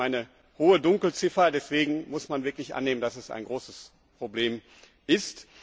Es gibt eine hohe Dunkelziffer, deswegen muss man wirklich annehmen, dass es ein großes Problem ist.